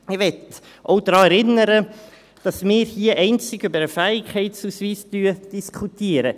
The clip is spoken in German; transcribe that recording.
Ich möchte auch daran erinnern, dass wir hier einzig über den Fähigkeitsausweis diskutieren.